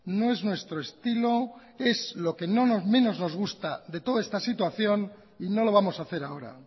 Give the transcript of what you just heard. no es nuestro estilo es lo que menos nos gusta de toda esta situación y no lo vamos a hacer ahora